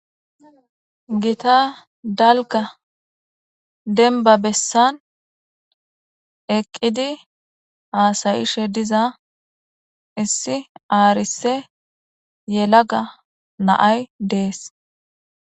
gita dalga denba bessan eqqidi aasayishe diza issi aarise yelaga naay dees